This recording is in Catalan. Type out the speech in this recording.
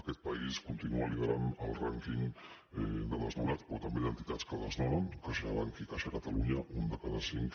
aquest país lidera el rànquing de desnonats però també d’entitats que desnonen caixabank i caixa catalunya un de cada cinc